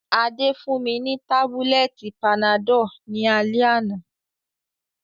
Adé fún mi ni tábúlẹ̀tì panadọ́l ní alẹ́ àná